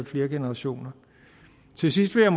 flere generationer til sidst vil